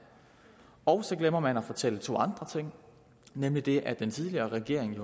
og så glemmer man at fortælle to andre ting nemlig det at den tidligere regering